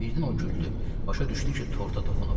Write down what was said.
Birdən o güldü, başa düşdü ki, torta toxunub.